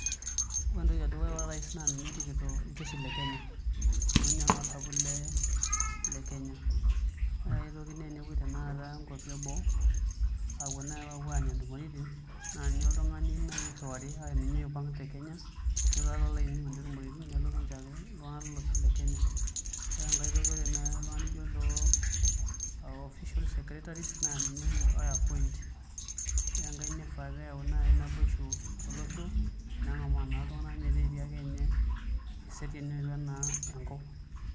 Ore entoki edukuya ore orais naa ninye orikito iljeshi Le Kenya amu inye naa osapuk Le le Kenya ore ae toki naa enepuei naai inkuapi eboo aapuo nai aanya tumoritin naa ninye iltungani nai oirriwari ashu ninye oipang te kenya nelo ainining intumiritin nelotu ayaki iltungana lolosho Le Kenya ore enkae toki ore nai iltungana nijo lo official secretaries naa ninye oshi oo appoint ore enkae nifaa pee eyawu nai naboishu tolosho nengamaa naa iltungana metaa etii akenye eseriani naa enkop .